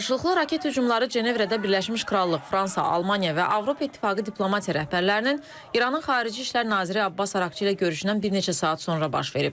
Qarşılıqlı raket hücumları Cenevrədə Birləşmiş Krallıq, Fransa, Almaniya və Avropa İttifaqı diplomatiya rəhbərlərinin İranın Xarici İşlər naziri Abbas Əraqçı ilə görüşündən bir neçə saat sonra baş verib.